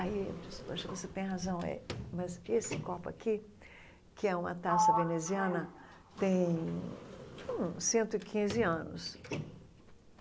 Aí eu disse, poxa, você tem razão eh, mas esse copo aqui, que é uma taça veneziana, tem hum cento e quinze anos.